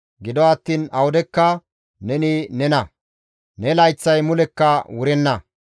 Gido attiin awudekka neni nena; ne layththay mulekka wurenna.